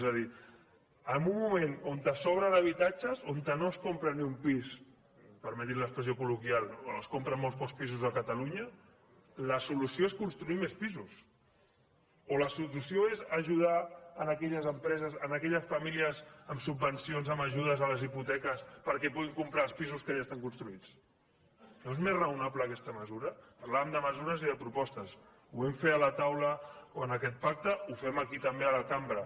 és a dir en un moment on sobren habitatges on no es compra ni un pis permetin l’expressió col·loquial o es compren molts pocs pisos a catalunya la solució és construir més pisos o la solució és ajudar aquelles empreses aquelles famílies amb subvencions amb ajudes a les hipoteques perquè puguin comprar els pisos que ja estan construïts no és més raonable aquesta mesura parlàvem de mesures i de propostes ho vam fer a la taula o en aquest pacte ho fem aquí també a la cambra